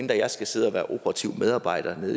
jeg skal sidde og være operativ medarbejder